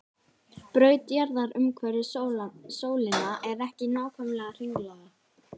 Braut jarðar umhverfis sólina er ekki nákvæmlega hringlaga.